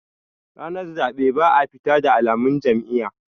ranar zaɓe ba a fita da alamun Jam'iyya